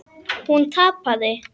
Hún tapaði.